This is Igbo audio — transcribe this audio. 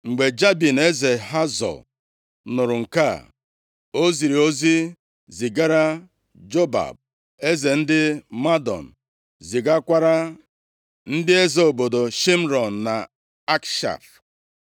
Mgbe Jabin eze Hazọ nụrụ nke a, o ziri ozi zigara Jobab eze ndị Madọn, zigakwara ndị eze obodo Shịmrọn na Akshaf,